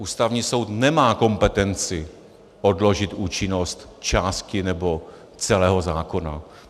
Ústavní soud nemá kompetenci odložit účinnost části nebo celého zákona.